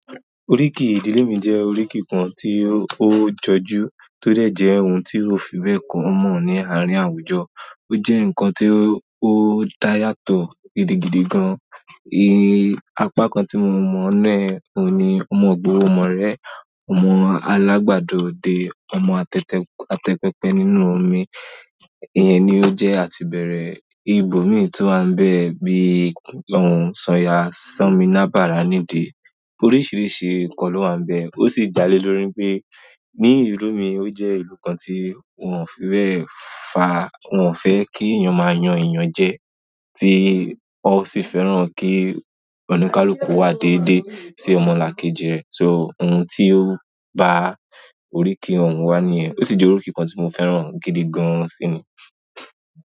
Oríkì ìdílé mi jẹ́ oríkì kan tí ó jọjú, tó dẹ̀ jẹ́ ohun tí òfin bẹ́ẹ̀ common àárín àwùjọ. Ó jẹ́ ǹkan tí ó dá yàtọ̀ gidigidi gan. Apá kan tí mo mọ̀ náà ni, ọmọ gbòòrò mọ̀ rẹ́, ọmọ alágbàdo dé, ọmọ àtẹ́pẹ́pẹ́ nínú omi. Ìyẹn ni ó jẹ́ àtìbẹ̀rẹ̀. Ibo mi to wa n be bi. Sanya san mi labara ni di. Oríṣiríṣi ǹkan ló máa ń bẹ. Ó sì jálè lórí pé ní ìlú mi ó jẹ́ ìlú kan tí won òfi bẹ̀ fa wọn fẹ́ kí èèyàn máa yan èèyàn jẹ, tí wọ́n sì fẹ́ràn kí oníkálukú wá déédé sí ọmọlàkejì rẹ̀. So ohun tí ó ba oríkì wọn wa nìyẹn. Ó sì jẹ́ oríkì kan tí mo fẹ́ràn gidi gan síni.